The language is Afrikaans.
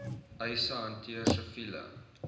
eise hanteer siviele